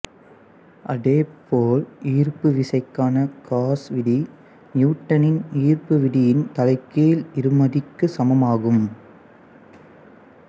அதே போல் ஈர்ப்பு விசைக்கான காஸ் விதி நியுட்டனின் ஈா்ப்பு விதியின் தலைகீழ் இருமடிக்கு சமமாகும்